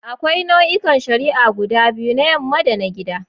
Akwai nau'ikan shari'a guda biyu: na yamma da na gida.